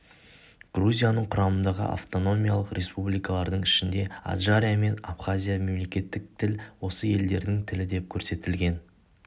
грузияның құрамындағы автономиялық республикалардың ішінде аджария мен абхазияда мемлекеттік тіл осы елдердің тілі деп көрсетілген